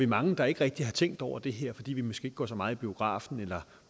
mange der ikke rigtig har tænkt over det her fordi vi måske ikke går så meget i biografen eller